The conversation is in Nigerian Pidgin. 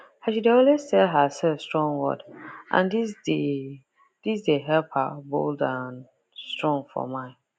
she dey always tell herself strong word and this dey this dey help her bold and strong for mind